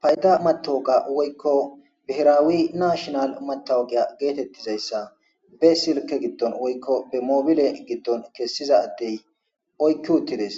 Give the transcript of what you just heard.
Fayda matoga woykko bihiraawi nashinal matowgiya geetettizayssa be silke gidton woykko be moobile gidton kessiza atti oykki uttides